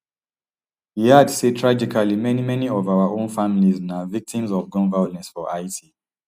e add say tragically many many of our own families na victims of gun violence for haiti